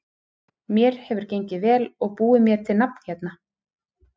Mér hefur gengið vel og búið mér til nafn hérna.